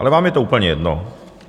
Ale vám je to úplně jedno.